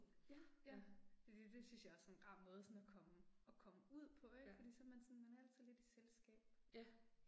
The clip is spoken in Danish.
Ja, ja. Fordi det synes jeg også er en rar måde sådan at komme, at komme ud på ik fordi så man sådan man er altid lidt i selskab